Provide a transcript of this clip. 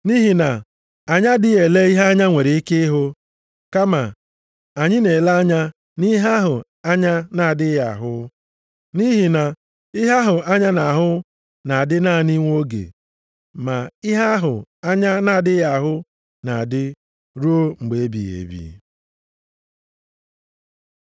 Nʼihi na anyị adịghị ele ihe anya nwere ike ịhụ, kama anyị na-ele anya nʼihe ahụ anya na-adịghị ahụ. Nʼihi na ihe ahụ anya na-ahụ na-adị naanị nwa oge, ma ihe ahụ anya na-adịghị ahụ na-adị ruo mgbe ebighị ebi.